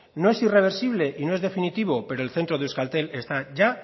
no es irreversible y no es definitivo pero el centro de euskaltel está ya